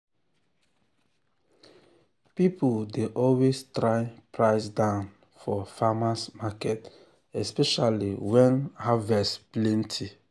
people dey always try price down for farmers’ market especially when harvest plenty.